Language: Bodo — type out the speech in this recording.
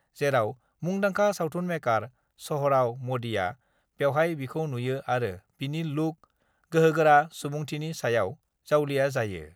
जेराव मुंदांखा सावथुन मेकार स'हराव मदिआ बेवहाय बिखौ नुयो आरो बिनि लुक, गोहोगोरा सुबुंथिनि सायाव जावलिया जायो।